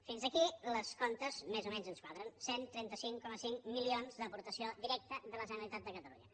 fins aquí els comptes més o menys ens quadren cent i trenta cinc coma cinc milions d’aportació directa de la generalitat de catalunya